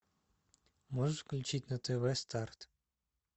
можешь включить на тв старт